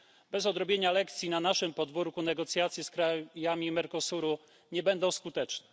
Bez odrobienia lekcji na naszym podwórku negocjacje z krajami Mercosuru nie będą skuteczne.